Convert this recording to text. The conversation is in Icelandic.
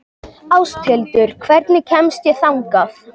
Ásthildur, hvernig kemst ég þangað?